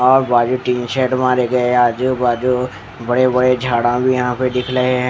और बाजू tin shed मारे गए आजू बाजू बड़े बड़े झाड़ा भी यहाँ पर दिख रहे है ।